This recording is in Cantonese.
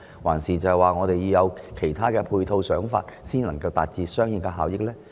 還是，政府應制訂其他配套和想法，才能達致相應的效益呢？